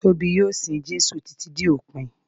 Tóbi yóò sin Jésù títí dé òpin.